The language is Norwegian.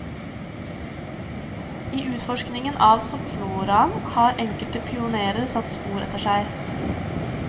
I utforskningen av soppfloraen har enkelte pionerer satt spor etter seg.